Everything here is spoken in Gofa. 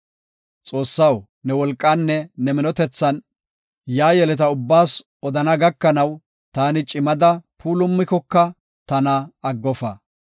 Xoossaw ne wolqaanne ne minotethan yaa yeleta ubbaas odana gakanaw, taani cimada puulumikoka tana aggofa.